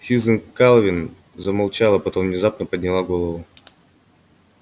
сьюзен кэлвин замолчала потом внезапно подняла голову